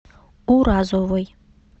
уразовой